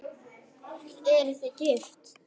Eruð þið gift?